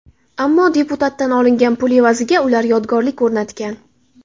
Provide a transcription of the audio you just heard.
Ammo deputatdan olingan pul evaziga ular yodgorlik o‘rnatgan.